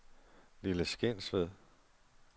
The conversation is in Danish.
Lille Skensved